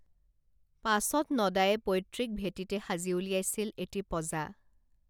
পাছত নদায়ে পৈতৃক ভেটিতে সাজি উলিয়াইছিল এটি পঁজা